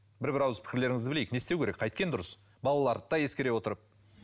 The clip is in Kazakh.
бір бір ауыз пікірлеріңізді білейік не істеу керек қайткен дұрыс балаларды да ескере отырып